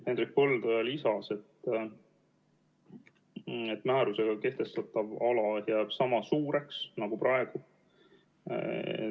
Hendrik Põldoja lisas, et määrusega kehtestatav ala jääb sama suureks nagu praegu.